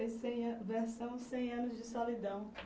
versão cem anos de solidão.